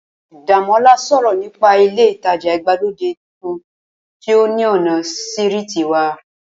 Dàmọ́lá sọ̀rọ̀ nípa ilé ìtajà ìgbàlódé tuntun tí ó ní ọ̀nà sírìtì wa